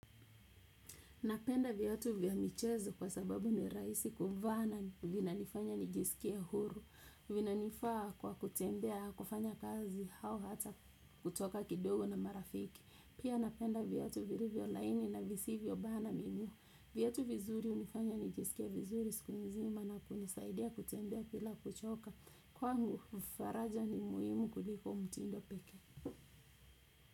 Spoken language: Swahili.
Napenda viatu vya michezo kwa sababu ni rahisi kuvaa na vinanifanya nijisikie huru, vinanifaa kwa kutembea kufanya kazi au hata kutoka kidogo na marafiki. Pia napenda viatu vilivyo laini na visivyo bana miguu. Viatu vizuri hunifanya nijisikie vizuri siku nzima na kunisaidia kutembea bila kuchoka. Kwangu faraja ni muhimu kuliko mtindo pekee.